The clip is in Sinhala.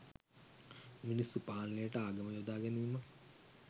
මිනිස්සු පාලනයට ආගම යොදාගැනීමක්